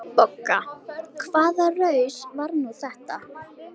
BOGGA: Hvaða raus var nú þetta?